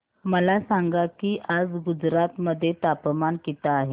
मला सांगा की आज गुजरात मध्ये तापमान किता आहे